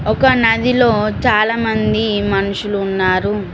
ఒక నదిలో చాలామంది మనుషులు ఉన్నారు.